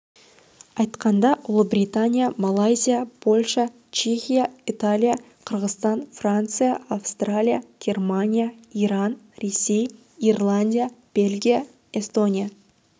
айтқанда ұлыбритания малайзия польша чехия италия қырғызстан франция австралия германия иран ресей ирландия бельгия эстония